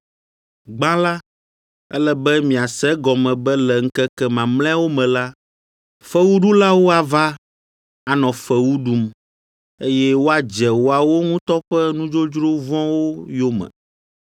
Gbã la, ele be miase egɔme be le ŋkeke mamlɛawo me la, fewuɖulawo ava, anɔ fewu ɖum, eye woadze woawo ŋutɔ ƒe nudzodzro vɔ̃wo yome.